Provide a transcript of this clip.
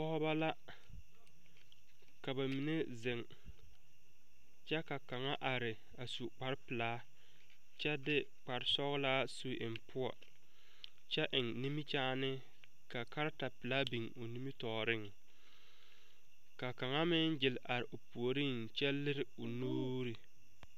Pɔgɔbɔ la. Ka ba mene zeŋ kyɛ ka kanga are a su kparo pulaa kyɛ de kparo sɔglaa su eŋ poʊ. Kyɛ eŋ nimikyaani. Ka karata pulaa biŋ o nimitooreŋ. Ka kanga meŋ gyil are o pooreŋ kyɛ lire o nuure.